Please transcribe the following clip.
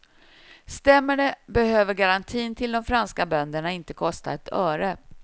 Stämmer det behöver garantin till de franska bönderna inte kosta ett öre.